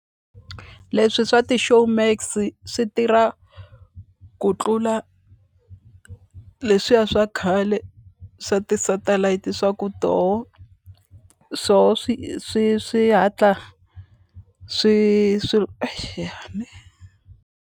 Leswi swa ti-Showmax swi tirha ku tlula leswiya swa khale swa ti-satellite swa ku toho swoho swi swi swi hatla swi swilo exi ya ne.